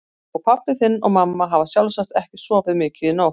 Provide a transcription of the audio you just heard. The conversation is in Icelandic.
Og pabbi þinn og mamma hafa sjálfsagt ekki sofið mikið í nótt.